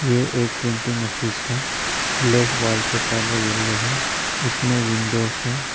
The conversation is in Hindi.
ये एक प्रिंटिंग ऑफिस है लेफ्त वॉल का कलर येल्लो है इसमें विंडोज हैं।